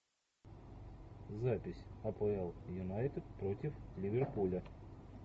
запись апл юнайтед против ливерпуля